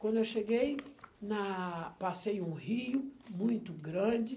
Quando eu cheguei, na... passei um rio muito grande.